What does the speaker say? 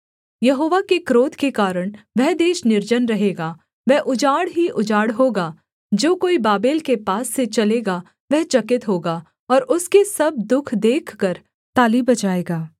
यहोवा के क्रोध के कारण वह देश निर्जन रहेगा वह उजाड़ ही उजाड़ होगा जो कोई बाबेल के पास से चलेगा वह चकित होगा और उसके सब दुःख देखकर ताली बजाएगा